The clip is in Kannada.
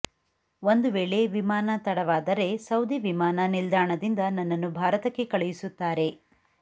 ಒಂದು ವೇಳೆ ವಿಮಾನ ತಡವಾದರೆ ಸೌದಿ ವಿಮಾನ ನಿಲ್ದಾನದಿಂದ ನನ್ನನ್ನು ಭಾರತಕ್ಕೆ ಕಳುಸುತ್ತಾರೆ